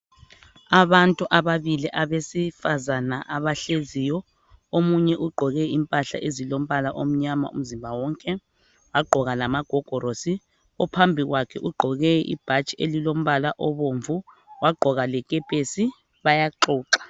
Abantu ababili abesifazana abahleziyo. Omunye ugqoke impahla ezilombala omnyama umzimba wonke wagqoka lamagogorosi. Ophambi kwakhe ugqoke ibhatshi elilombala obomvu, wagqoka lekepesi. Bayaxoxa .